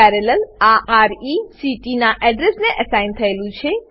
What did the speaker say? અહીં parallel parallel આ રેક્ટ નાં એડ્રેસને એસાઇન થયેલું છે